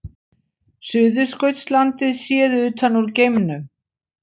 Suðurskautslandið séð utan úr geimnum.